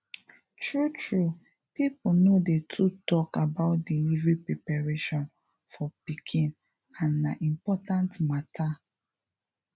true true people no dey too talk about delivery preparation for pikin and na important matter